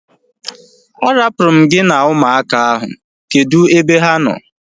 A rapuru m gị na ụmụaka ahu. Kedụ ebe ha nọ